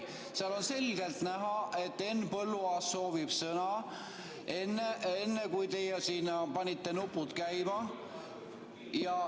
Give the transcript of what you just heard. Sealt on selgelt näha, et Henn Põlluaas soovis sõna enne, kui teie panite nupud käima.